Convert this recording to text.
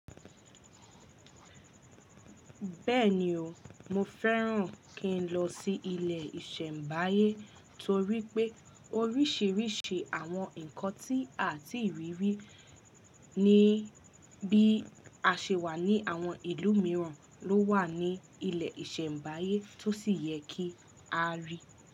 Bẹ́ẹ̀ni o, mo fẹ́ràn kí n lọ sí ilẹ̀ ìṣẹ̀mbáyé torí pé oríṣìíríṣìí àwọn nkan tí àti rírí ní bí a ṣe wà ní àwọn ìlú mìíràn ló wà ní ilẹ̀ ìṣẹ̀mbáyé tó sì yẹ kí a rí.